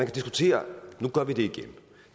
diskutere nu gør vi det igen